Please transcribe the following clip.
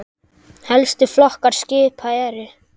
Helstu flokkar skipa eru